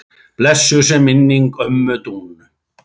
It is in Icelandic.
Blessuð sé minning ömmu Dúnu.